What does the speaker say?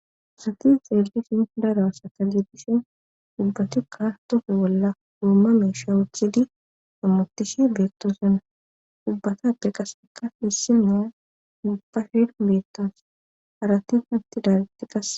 Asati xeellishin dara sakalidishin dubbatikka tofi bolla uomma meesha uthidi ammotishi beettoosana dubbatappe qaseka hissimiya nubbafhen meettas harati hatti daalitti qase